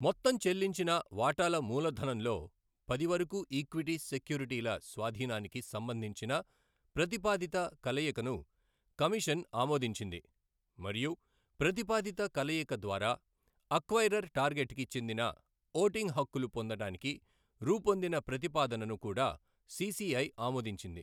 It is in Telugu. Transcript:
మొత్తం చెల్లించిన వాటాల మూలధనంలో పది వరకు ఈక్విటీ సెక్యూరిటీల స్వాధీనానికి సంబంధించిన ప్రతిపాదిత కలయికను కమిషన్ ఆమోదించింది మరియు ప్రతిపాదిత కలయిక ద్వారా అక్వైరర్ టార్గెట్ కి చెందిన ఓటింగ్ హక్కులు పొందడానికి రూపొందిన ప్రతిపాదనను కూడా సీసీఐ ఆమోదించింది.